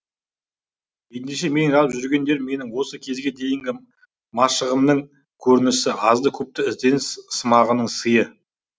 ендеше менің жазып жүргендерім менің осы кезге дейінгі машығымның көрінісі азды көпті ізденіс сымағымның сыйы